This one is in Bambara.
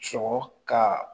Sɔgɔ ka